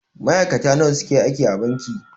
Ma'aikata nawa suke aiki a banki.